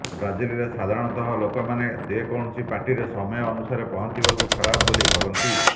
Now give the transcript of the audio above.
ବ୍ରାଜିଲରେ ସାଧାରଣତଃ ଲୋକମାନେ ଯେକୌଣସି ପାର୍ଟିରେ ସମୟ ଅନୁସାରେ ପହଞ୍ଚିବାକୁ ଖରାପ ବୋଲି ଭାବନ୍ତି